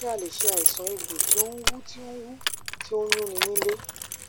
ṣé a lè ṣe àìsàn egbo ti o n wu ti o wu ti o nyun ni nílé